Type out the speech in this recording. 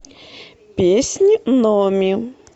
песнь номи